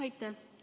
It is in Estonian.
Aitäh!